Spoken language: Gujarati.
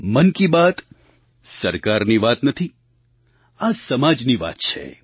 મન કી બાત સરકારી વાત નથી આ સમાજની વાત છે